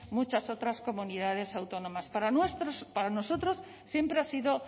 muchas otras comunidades autónomas para nosotros siempre ha sido